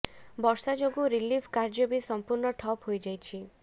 ବର୍ଷା ଯୋଗୁ ରିଲିଫ୍ କାର୍ୟ୍ୟ ବି ସଂପୂର୍ଣ୍ଣ ଠପ୍ ହୋଇଯାଇଛି